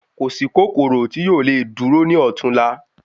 Kòsí kòkòrò ti yoo lè dúró ní ọtún la